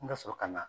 N ka sɔrɔ ka na